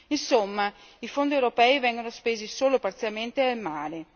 Insomma, i fondi europei vengono spesi solo parzialmente e male.